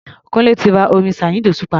Kúńlé ti ra orin Saheed Osupa.